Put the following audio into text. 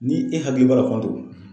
Ni e hakili b'a la Fanton